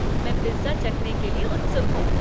मैं पिज़्ज़ा चखने के लिए उत्सुक हूँ।